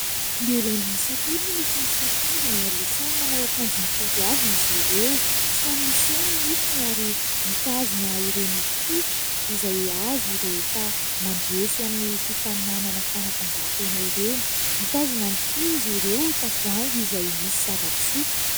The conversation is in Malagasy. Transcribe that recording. Lehilahy miisa telo no mifampisakambina ary samy manao akanjo mitovy avy izy ireo. Samy miseho ny nifiny ary mitazona ireny kopy izay azo rehefa mandresy amin'ny fifaninanana fanatanjahantena ireny. Mitazona ihany koa izy ireo tavoahangy izay misy zava-pisotro.